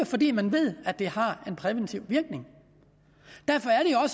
fordi man ved at det har en præventiv virkning derfor er